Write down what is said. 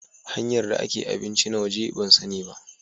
Hanyar da ake abinci na waje ban san ni ba.